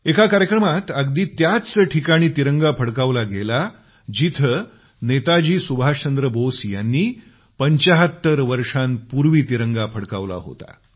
एका कार्यक्रमात अगदी त्याच ठिकाणी तिरंगा फडकवला गेला जिथं नेताजी सुभाष बोस यांनी 75 वर्षांपूर्वी तिरंगा फडकवला होता